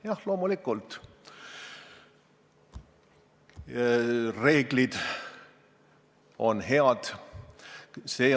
Jah, loomulikult, reeglid on head.